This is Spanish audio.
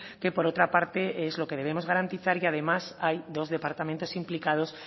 que por otra parte es lo que debemos garantiza y además hay dos departamento implicados